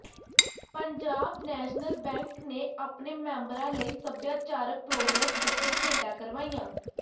Punjab national bank ਨੇ ਆਪਣੇ ਮੈਂਬਰਾਂ ਲਈ ਸੱਭਿਆਚਾਰਕ ਪ੍ਰੋਗਰਾਮ ਅਤੇ ਖੇਡਾਂ ਕਰਵਾਈਆਂ